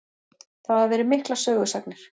Það hafa verið miklar sögusagnir.